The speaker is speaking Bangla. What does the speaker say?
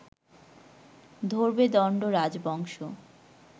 ধরবে দণ্ড রাজবংশ